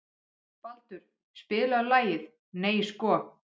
Baldur, spilaðu lagið „Nei sko“.